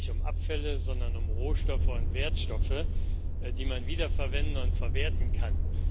Es geht nicht um Abfälle, sondern um Rohstoffe und Wertstoffe, die man wiederverwenden und verwerten kann.